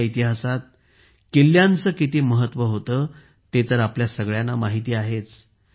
आपल्या इतिहासात किल्ल्यांचे किती महत्त्व होते ते तर आपल्या सगळ्यांना माहीत आहेच